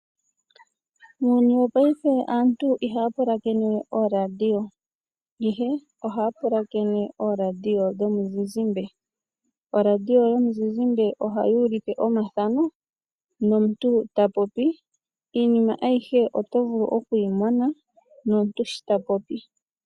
Muuyuni wopaife aantu ihaya pulakene we ooradio, ihe ohaya pulakene ooradio dhomizizimbe. Oradio yomuzizimbe ohayi ulike omathano, nomuntu shi tapopi. Iinima ayihe oto vulu okuyi mona, nomuntu shi tapopi, oto vulu okumu mona.